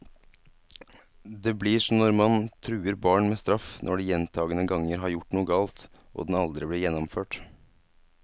Det blir som når man truer barn med straff når de gjentagende ganger har gjort noe galt, og den aldri blir gjennomført.